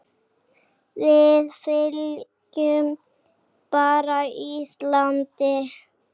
Við fylgjum bara Íslandi